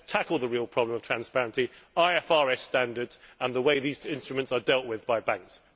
Let us tackle the real problem of transparency, IFRS standards and the way these instruments are dealt with by banks.